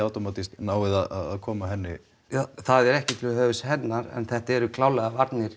náið að koma henni ja það er ekki til höfuðs henni en þetta eru klárlega varnir